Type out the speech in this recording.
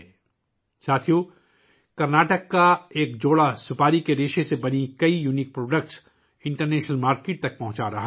ساتھیو ، کرناٹک کا ایک جوڑا بین الاقوامی مارکیٹ میں آرکینوٹ فائبر سے بنی کئی منفرد مصنوعات فراہم کر رہا ہے